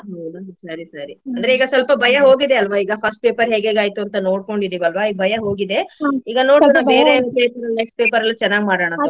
ನೋಡೋಣ ಸರಿ ಸರಿ ಅಂದ್ರೆ ಈಗಾ ಸ್ವಲ್ಪ ಭಯಾ ಹೋಗಿದೆ ಅಲ್ವಾ ಈಗಾ first paper ಹೇಗೆಗ್ ಆಯ್ತು ಅಂತಾ ನೋಡ್ಕೊಂಡಿದೀವ ಅಲ್ವಾ ಈಗ ಭಯಾ ಹೋಗಿದೆ ಈಗ ನೋಡೋಣ ಬೇರೆ paper ಲ್ಲಿ next paper ಲ್ಲಿ ಚೆನ್ನಾಗಿ ಮಾಡಾನಾ ತುಗೋಳಿ.